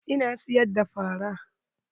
Ina siyar da fara.